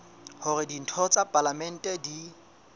hore ditho tsa palamente di